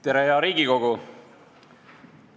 Tere, hea Riigikogu!